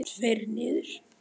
Tveir niður?